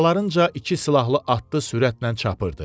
Arxalarınca iki silahlı atlı sürətlə çapırdı.